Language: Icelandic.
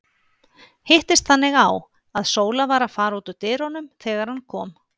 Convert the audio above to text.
Hittist þannig á, að Sóla var að fara út úr dyrunum þegar hann kom.